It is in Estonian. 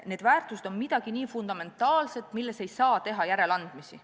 Need väärtused on midagi nii fundamentaalset, et neis ei saa teha järeleandmisi.